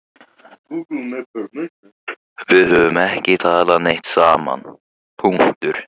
Við höfum ekki talað neitt saman.